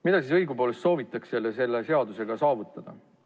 Mida siis õigupoolest soovitakse selle seaduseelnõuga saavutada?